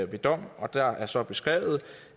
ved dom der er så beskrevet